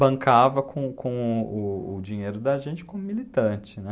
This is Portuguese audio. Bancava com com o o o dinheiro da gente como militante, né?